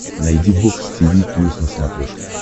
найди бокс тиви плюс на смотрешке